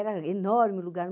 Era enorme o lugar.